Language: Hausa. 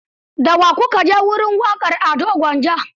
Da wa ku ka je wajen waƙar Ado Gwanja?